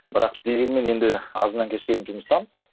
бірақ дегенмен енді азаннан кешке дейін жұмыстамыз